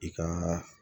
I ka